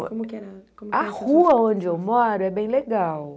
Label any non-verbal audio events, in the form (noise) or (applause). (unintelligible) A rua onde eu moro é bem legal.